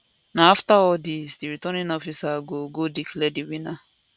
na afta all dis di returning officer go go declare di winner